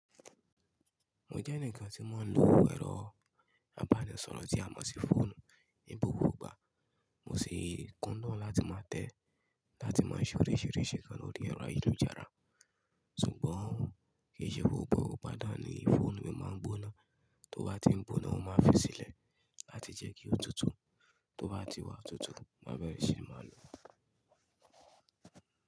Mo jẹ́ ẹnìkan tí mọ ń lo ẹ̀rọ abánisọ̀rọ̀ tí a mọ̀ sí fóònù ní gbogbo ìgbà, mo sì kúndùn láti máa tẹ̀ ẹ́ láti máa ṣe oríṣìíríṣìí nǹkan lórí ẹrọ ayélujára. Sùgbọ́n kì í ṣe gbogbo igba ni fóònù mi máa ń gbóná, tó bá ti ń gbóná, mo máa fi sílẹ̀ láti jẹ́ kí ó tutù, tó bá ti wá tutù, mo má bẹ̀rẹ̀ sí máa lò ó.